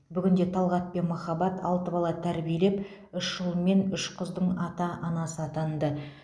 бүгінде талғат пен махаббат алты бала тәрбиелеп үш ұл мен үш қыздың ата анасы атанды